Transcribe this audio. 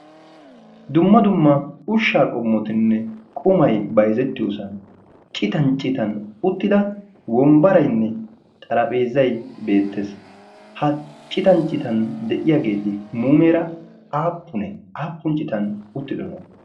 dumma dumma ushshaa qommotinne qumai bayzettiyoosan citan citan uttida wombbarainne xarapheezai beettees. ha citan citan de'iyaageeti muumeera aappunee aappun citan uttidona?